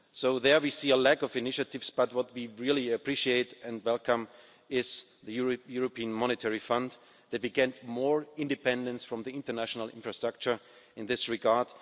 There, we see a lack of initiatives, but what we really appreciate and welcome is that the European Monetary Fund will get more independence from the international infrastructure in this regard.